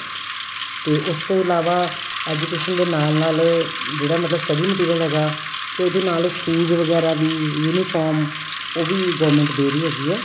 ਤੇ ਉਸ ਤੋਂ ਇਲਾਵਾ education ਦੇ ਨਾਲ ਨਾਲ ਜਿਹੜਾ ਮਤਲਬ study material ਹੈਗਾ ਤੇ ਉਹਦੇ ਨਾਲ shoes ਵਗੈਰਾ ਵੀ uniform ਉਹ ਵੀ government ਦੇ ਰਹੀ ਹੈਗੀ ਏ